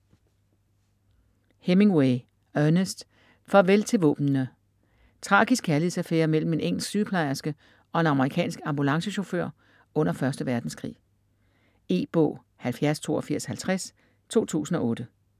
Hemingway, Ernest: Farvel til våbnene Tragisk kærlighedsaffære mellem en engelsk sygeplejerske og en amerikansk ambulancechauffør under 1. verdenskrig. E-bog 708250 2008.